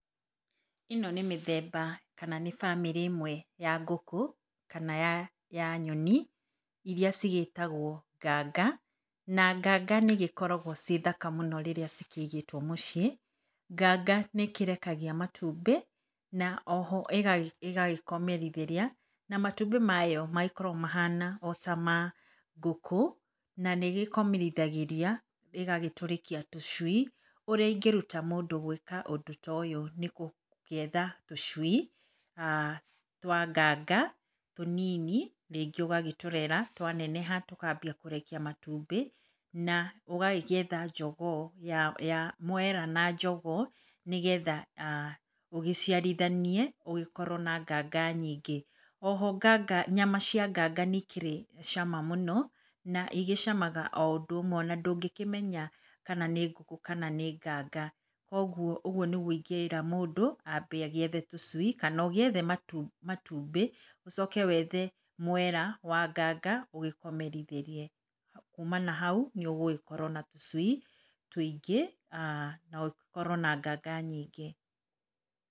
Ĩno nĩ mĩthemba, kana nĩ bamĩrĩ ĩmwe ya ngũkũ, kana ya ya nyoni, iria cigĩtagwo nganga, na nganga nĩ igĩkoragwo ciĩ thaka mũno rĩrĩa cikĩigĩtwo mũciĩ. Nganga nĩ ĩkĩrekagia matumbĩ, na oho ĩgagĩkomerithĩria, na matumbĩ mayo magĩkoragwo mahana o tamangũkũ, na nĩ ĩgĩkomerithagĩria agagĩtũrĩkia tũcui. Ũrĩa ingĩruta mũndũ gwĩka ũndũ toyo, nĩ gũgĩetha tũcui, aah twa nganga, tũnini, rĩngĩ ũgagĩtũrera twaneneha tũkambia kũrekia matumbĩ, na ũgagĩetha njogoo ya ya mwera, na njogoo, nĩgetha ũgĩciarithanie, ũgĩkorwo na nganga nyingĩ. Oho nganga nyama cia nganga nĩ ikĩrĩ cama mũno, na igĩcamaga o ũndũ ũmwe ona ndũngĩkĩmenya, kana nĩ ngũkũ, kana nĩ nganga. Koguo ũguo nĩguo ingĩra mũndũ, ambe agĩethe tũcui kana ũgĩethe matu matumbĩ, ũcoke wethe mwera wa nganga, ũgĩkomerithĩrie, kuuma na hau, nĩ ũgĩgĩkorwo na tũcui tũingĩ, na ũgĩkorwo na nganga nyingĩ.